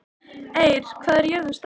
Eir, hvað er jörðin stór?